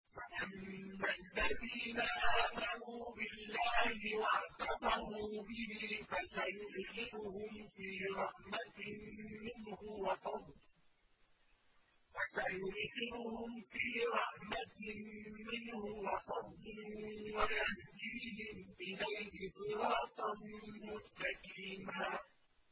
فَأَمَّا الَّذِينَ آمَنُوا بِاللَّهِ وَاعْتَصَمُوا بِهِ فَسَيُدْخِلُهُمْ فِي رَحْمَةٍ مِّنْهُ وَفَضْلٍ وَيَهْدِيهِمْ إِلَيْهِ صِرَاطًا مُّسْتَقِيمًا